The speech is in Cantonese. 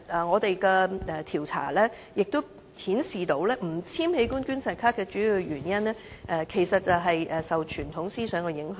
我們的調查亦顯示，不簽署器官捐贈卡的主要原因，其實是受傳統思想影響。